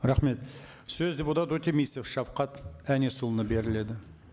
рахмет сөз депутат өтемісов шавхат әнесұлына беріледі